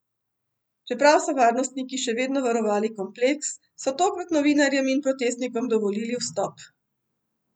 Čeprav so varnostniki še vedno varovali kompleks, so tokrat novinarjem in protestnikom dovolili vstop.